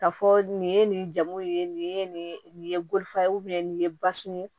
Ka fɔ nin ye nin jamu ye nin ye nin nin ye bolofara ye nin ye basun ye